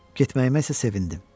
Getməyimə isə sevindim.